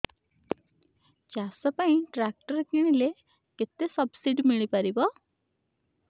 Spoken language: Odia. ଚାଷ ପାଇଁ ଟ୍ରାକ୍ଟର କିଣିଲେ କେତେ ସବ୍ସିଡି ମିଳିପାରିବ